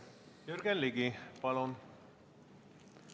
Jürgen Ligi, palun!